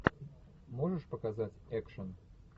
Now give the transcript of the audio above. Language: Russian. можешь показать экшен